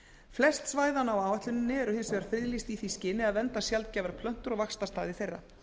flest svæðanna á áætluninni eru hins vegar friðlýst í því skyni að vernda sjaldgæfar plöntur og vaxtarstaði þeirra